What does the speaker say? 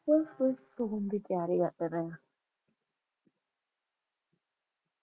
ਬਸ ਸੌਣ ਦੀ ਤਿਆਰੀ ਕਰ ਰਹੇ ਹਾਂ